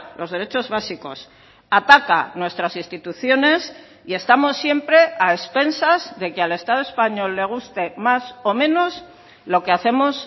los derechos básicos ataca nuestras instituciones y estamos siempre a expensas de que al estado español le guste más o menos lo que hacemos